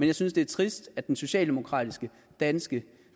jeg synes det er trist at den socialdemokratiske danske